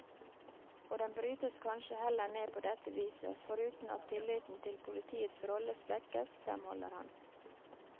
Og den brytes kanskje heller ned på dette viset, foruten at tilliten til politiets rolle svekkes, fremholder han.